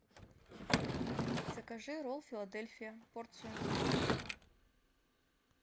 закажи ролл филадельфия порцию